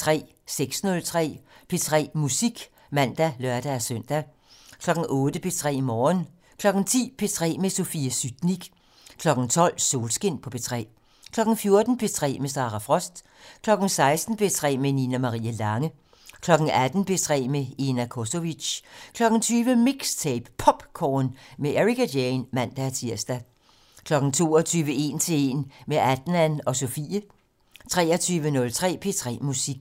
06:03: P3 Musik (man og lør-søn) 08:00: P3 Morgen 10:00: P3 med Sofie Sytnik 12:00: Solskin på P3 14:00: P3 med Sara Frost 16:00: P3 med Nina Marie Lange 18:00: P3 med Ena Cosovic 20:00: MIXTAPE - POPcorn med Ericka Jane (man-tir) 22:00: 1 til 1 - med Adnan og Sofie (man) 23:03: P3 Musik